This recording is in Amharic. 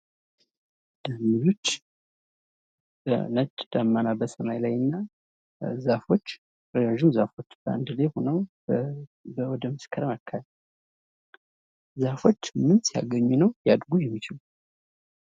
ዛፎች ነጭ ዳመና በሰማይ ላይ እና ዛፎች ረዥም ዛፎች በአንድ ላይ ሁነዉ በመስከረም አካባቢ፤ ዛፎች ምን ሲያገኙ ነዉ ሊያድጉ የሚችሉ?